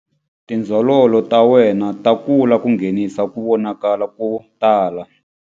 Tindzololo ta wena ta kula ku nghenisa ku vonakala ko tala.